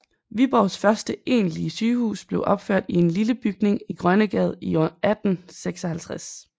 Viborgs første egentlige sygehus blev opført i en lille bygning i Grønnegade i år 1856